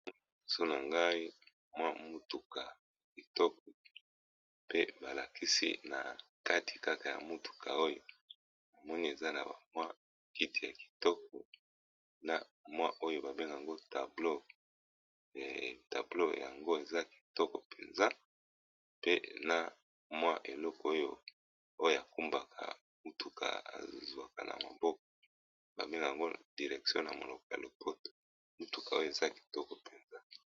Liboso na ngai mwa mutuka ya kitoko pe balakisi na kati kaka ya mutuka oyo namoni eza na bamwa kiti ya kitoko na mwa oyo ba benganga tablo yango eza kitoko mpenza, pe na mwa eloko oyo oyo ekumbaka mutuka ezwaka na maboko ba bengaka yango direktion na monoko ya lopoto mutuka oyo eza kitoko mpenza.